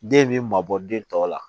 Den bɛ mabɔ den tɔ la